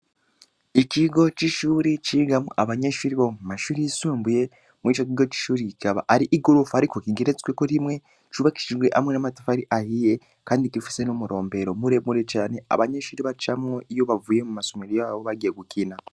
Ikigo c’ishure cigamwo abanyeshure bo mumashure yisumbuye ,mur’ ico kigo c’ishure kikaba Ari igorofa Ariko igeretsweko rimwe, ubakishijwe hamwe n’amatafari ahiye, Kandi gifise n’umurombero muremure cane abanyeshure bacamwo iyo bavuye mumasomero yabo bagiye gukina.